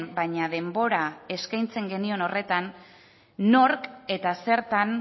baina denbora eskaintzen genion horretan nork eta zertan